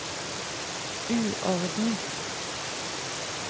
uorden